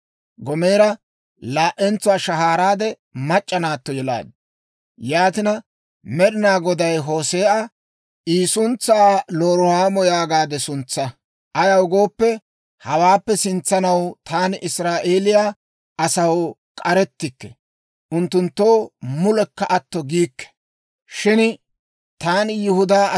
Gomeera laa"entsuwaa shahaaraade, mac'c'a naatto yelaaddu. Yaatina, Med'inaa Goday Hoose'a, «I suntsaa ‹Loruhaamo› yaagaade suntsaa. Ayaw gooppe, hawaappe sintsanaw taani Israa'eeliyaa asaw k'arettikke; unttunttoo mulekka atto giikke. 1:6 Loruhaamo: Loruhaamo giyaawe K'arettennaano giyaawaa.